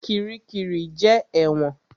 Kiríkirì jẹ́ ẹ̀wọ̀n.